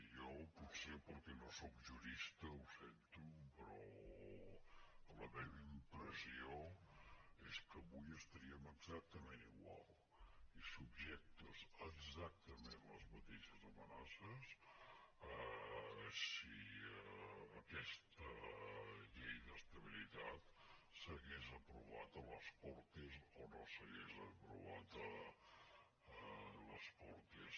jo potser perquè no sóc jurista ho sento però la meva impressió és que avui estaríem exactament igual subjectes a exactament les mateixes amenaces si aquesta llei d’estabilitat s’hagués aprovat a les cortes o no s’hagués aprovat a les cortes